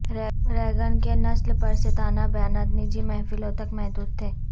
Reagan کے نسل پرستانہ بیانات نجی محفلوں تک محدود تھے